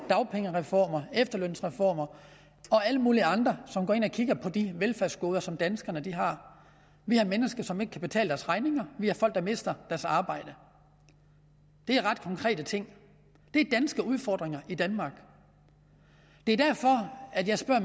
dagpengereformer efterlønsreformer og alle mulige andre som går ind og kigger på de velfærdsgoder som danskerne har vi har mennesker som ikke kan betale deres regninger vi har folk der mister deres arbejde det er ret konkrete ting det er danske udfordringer i danmark det er derfor jeg spørger